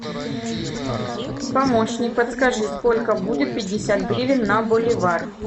помощник подскажи сколько будет пятьдесят гривен на боливар